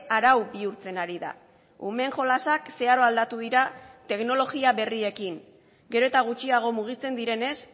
arau bihurtzen ari da umeen jolasak zeharo aldatu dira teknologia berriekin gero eta gutxiago mugitzen direnez